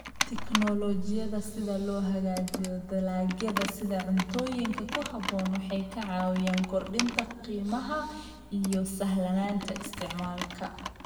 Tiknoolajiyada si loo hagaajiyo dalagyada sida cuntooyinka ku habboon waxay caawiyaan kordhinta qiimaha iyo sahlanaanta isticmaalka.